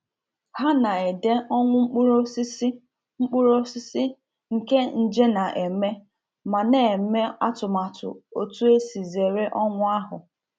Ha na-ede ọnwụ mkpụrụ osisi mkpụrụ osisi nke nje na-eme ma na-eme atụmatụ otu esi zere ọnwụ ahụ.